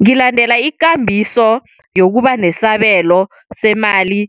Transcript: Ngilandela ikambiso yokubanesabelo semali